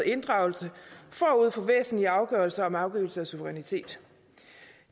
inddragelse forud for væsentlige afgørelser om afgivelse af suverænitet